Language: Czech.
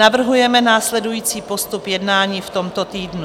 Navrhujeme následující postup jednání v tomto týdnu.